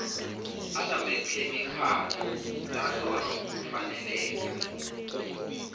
anamakhemikhali lahlolwa ngokufaneleka